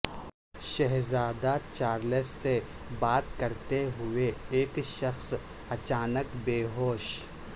شہزادہ چارلس سے بات کرتے ہوئے ایک شخص اچانک بے ہوش